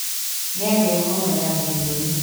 Nĩagĩa homa ya gĩthũri.